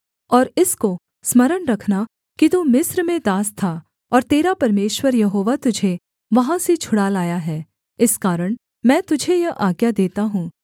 और इसको स्मरण रखना कि तू मिस्र में दास था और तेरा परमेश्वर यहोवा तुझे वहाँ से छुड़ा लाया है इस कारण मैं तुझे यह आज्ञा देता हूँ